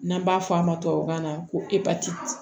N'an b'a fɔ a ma tubabukan na ko epatiti